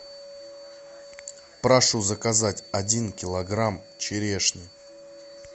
прошу заказать один килограмм черешни